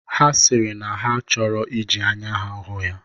Ha sịrị na ha chọrọ iji anya hụ ya.